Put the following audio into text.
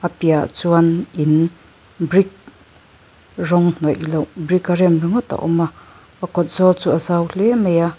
piahah chuan in brick rawng hnawih loh brick a rem ringawt a awm a a kawt zawl chu a zau hle mai a.